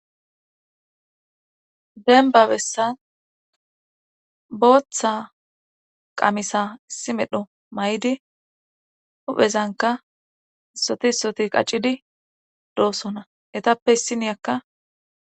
Denba bessan booththa qamisa issi medho may7di huphezanka isoti soti qaccidi doossona etappe issiniyakka